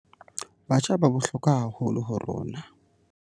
Batjha ba bohlokwa haholo ho rona.